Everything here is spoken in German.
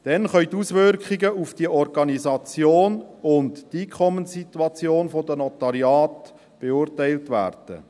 Dann können die Auswirkungen auf die Organisation und die Einkommenssituation der Notariate beurteilt werden.